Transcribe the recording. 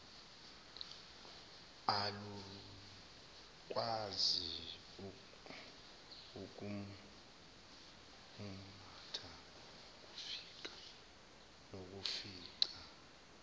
alukwazi ukumumatha nokufica